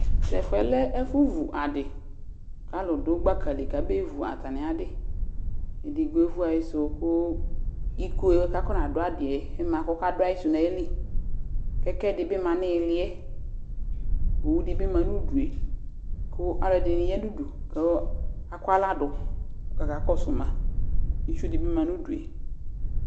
Tʋ ɛfʋ yɛ lɛ ɛfʋvu adɩ kʋ alʋ dʋ gbaka li kabaɣa evu atamɩ adɩ Edigbo evu ayɩsʋ kʋ iko yɛ kʋ akɔnadʋ adɩ yɛ ma kʋ ɔkadʋ ayɩsʋ yɛ nʋ ayili Kɛkɛ dɩ bɩ ma nʋ ɩɩlɩ yɛ Owu dɩ bɩ ma nʋ udu yɛ kʋ alʋɛdɩnɩ ya nʋ udu kʋ akɔ aɣla dʋ kʋ akakɔsʋ ma Itsu dɩ bɩ ma nʋ udu yɛ